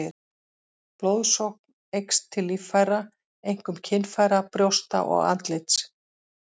Blóðsókn eykst til líffæra, einkum kynfæra, brjósta og andlits.